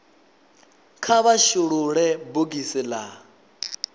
kha vha shulule bogisi la